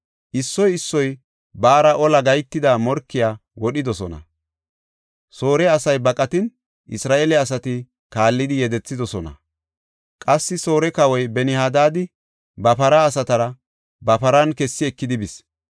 Issoy issoy baara ola gahetida morkiya wodhidosona. Soore asay baqatin, Isra7eele asati kaallidi yedethidosona. Qassi Soore Kawoy Ben-Hadaadi ba para asatara ba paran kessi ekidi bis.